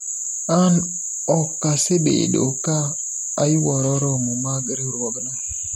an okasebedo ka ayuoro romo mag riwruogno